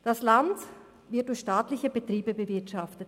Das Land wird durch staatliche Betriebe bewirtschaftet.